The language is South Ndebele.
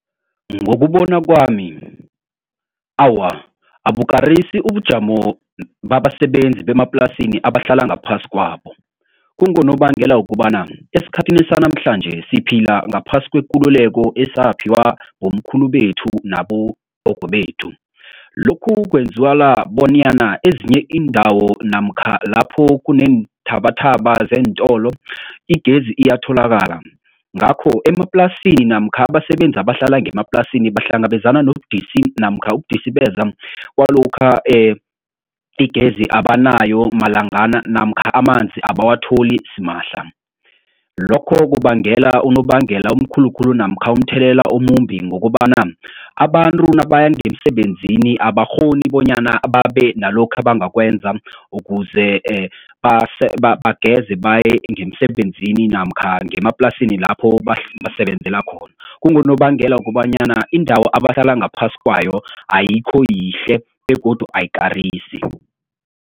Ngokubona kwami, awa abukarisi ubujamo babasebenzi bemaplasini abahlala ngaphasi kwabo. Kungonobangela wokobana esikhathini sanamhlanje siphila ngaphasi kwekululeko esaphiwa bomkhulu bethu nabogogo bethu. Lokhu bonyana ezinye iindawo namkha lapho kuneenthabathaba zeentolo igezi iyatholakala. Ngakho emaplasini namkha abasebenzi abahlala ngemaplasini bahlangabezana nobudisi namkha ukudisibeza kwalokha igezi abanayo malangana namkha amanzi abawatholi simahla. Lokho kubangela unobangela omkhulu kulu namkha umthelela omumbi ngokobana abantu nabaya ngemsebenzini abakghoni bonyana babe nalokhu abangakwenza ukuze bageze baye ngemsebenzini namkha ngemaplasini lapho basebenzela khona. Kunobangela wokobanyana indawo abahlala ngaphasi kwayo ayikho yihle begodu ayikarisi.